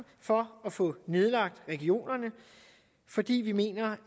for at få nedlagt regionerne fordi vi mener